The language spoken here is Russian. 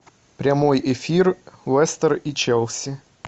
прямой эфир лестер и челси